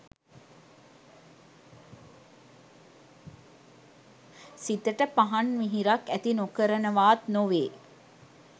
සිතට පහන් මිහිරක් ඇති නොකරනවාත් නොවේ